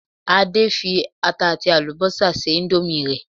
Adé fi ata àti àlùbọ́sà se indomie rẹ̀